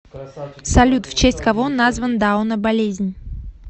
салют в честь кого назван дауна болезнь